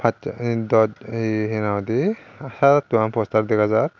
sat ye dos ye henang hoidey saat atto gan poster dega jaar.